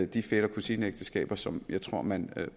de fætter kusine ægteskaber som jeg tror man